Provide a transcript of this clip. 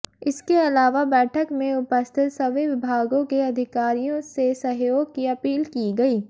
इसके अलावा बैठक में उपस्थित सभी विभागों के अधिकारियों से सहयोग की अपील की गई